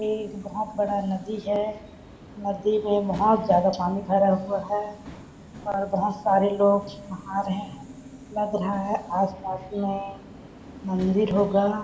एक बहुत बड़ा नदी है नदी में बहुत ज्यादा पानी भरा हुआ है और बहुत सारे लोग आ रहे हैं लग रहा है आसपास में मंदिर होगा।